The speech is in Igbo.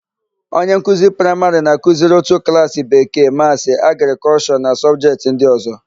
Onye nkuzi praịmarị na-akụziri ótù klaasị Bekee, Maasị, Agrịkọlshọ na sọbjetị ndị ọ̀zọ́.